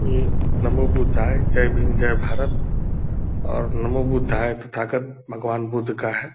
ये नमो बुद्धाय जय भीम जय भारत और नमो बुद्धाय तथागत भगवान बुद्ध का है ।